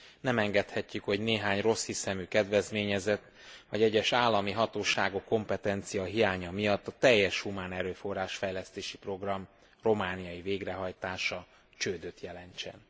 Nem engedhetjük, hogy néhány rosszhiszemű kedvezményezett, vagy egyes állami hatóságok kompetenciahiánya miatt a teljes humánerőforrás fejlesztési program romániai végrehajtása csődöt jelentsen.